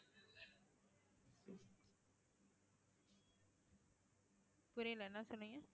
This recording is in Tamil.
புரியலை என்ன சொன்னீங்க